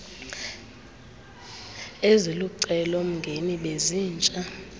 ezilucelo mgeni bezintsha